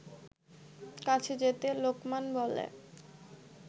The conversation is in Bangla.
কাছে যেতে লোকমান বলে